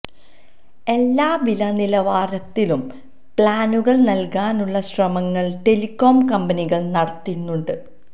എല്ലാ വില നിലവാരത്തിലും പ്ലാനുകൾ നൽകാനുള്ള ശ്രമങ്ങൾ ടെലിക്കോം കമ്പനികൾ നടത്തുന്നുണ്ട്